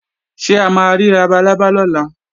Ṣé a ma rí labalábá lọ́la?